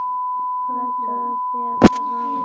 Flýtir sér til hans.